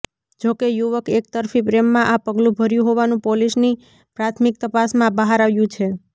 જોકે યુવક એક તરફી પ્રેમમાં આ પગલુ ભર્યું હોવાનુ પોલીસની પ્રાથમીક તપાસમાં બહાર આવ્યું છે